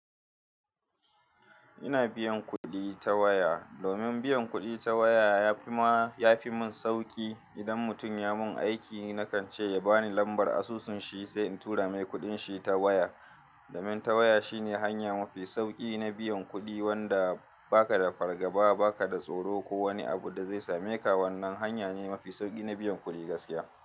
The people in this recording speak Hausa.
Ina biyan kuɗi ta waya. Domin biyan kuɗi ta waya ya fi mun sauƙi idan mutum ya mun aiki, nakan ce ya bani lambar asusun shi sai in tura mai kuɗin shi ta waya. Domin ta waya shine hanya mafi sauƙi na biyan kuɗi wanda ba ka da fargaba, ba ka da tsoro ko wani abu da zai same ka. Wannan hanya ne mafi sauƙi na biyan kuɗi gaskiya.